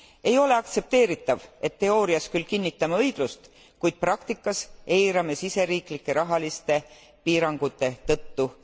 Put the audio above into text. Ei ole aktsepteeritav, et teoorias küll kinnitame õiglust, kuid praktikas eirame seda sisseriiklike rahaliste piirangute tõttu.